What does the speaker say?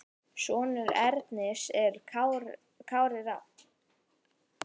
Sonur Ernis er Kári Rafn.